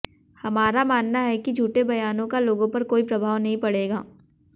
हमारा मानना है कि झूठे बयानों का लोगों पर कोई प्रभाव नहीं पड़ेगा